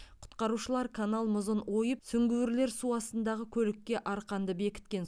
құтқарушылар канал мұзын ойып сүңгуірлер су астындағы көлікке арқанды бекіткен